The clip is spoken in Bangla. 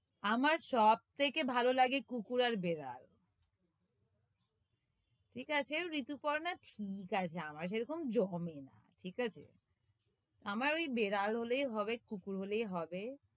আমার সব থেকে ভালো লাগে কুকুর আর বেড়াল ঠিক আছেও, ঋতুপর্ণা, ঠিক আছে আমার সেরকম জমে না ঠিক আছে? আমার ওই বেড়াল হলেই হবে, কুকুর হলেই হবে,